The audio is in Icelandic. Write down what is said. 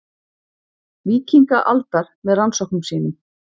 Víkingaaldar með rannsóknum sínum.